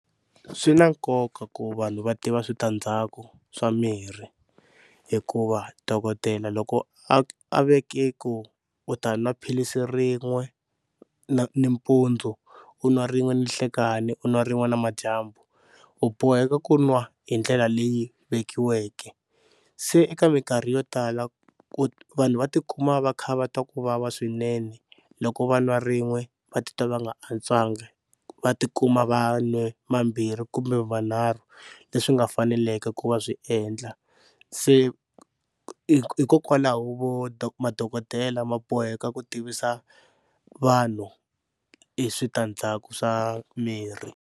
Swi na nkoka ku vanhu va tiva switandzhaku swa mirhi hikuva dokodela loko a a veke ku u ta nwa philisi rin'we na nimpundzu u nwa rin'we ninhlekani u nwa rin'we namadyambu u boheka ku nwa hi ndlela leyi vekiweke. Se eka minkarhi yo tala ku vanhu va tikuma va kha va twa ku vava swinene loko va nwa rin'we va titwa va nga antswangi va tikuma vanhu va nwe mambirhi kumbe manharhu leswi nga faneleke ku va swi endla, se hikokwalaho madokodela ma boheka ku tivisa vanhu hi switandzhaku swa mirhi.